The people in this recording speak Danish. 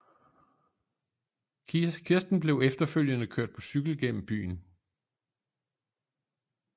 Kisten blev efterfølgende kørt på cykel igennem byen